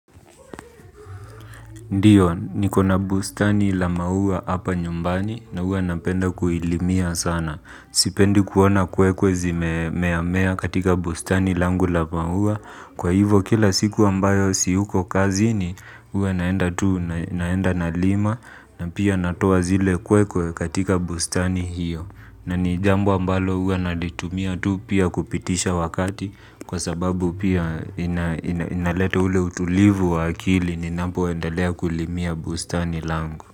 Ndiyo, niko na bustani la maua hapa nyumbani na huwa napenda kuilimia sana. Sipendi kuona kwekwe zimea mea katika bustani langu la maua. Kwa hivyo kila siku ambayo siyuko kazini huwa naenda tu naenda nalima na pia natoa zile kwekwe katika bustani hiyo. Na ni jambo ambalo huwa nalitumia tu pia kupitisha wakati kwa sababu pia inaleta ule utulivu wa akili ninapo endelea kulimia bustani langu.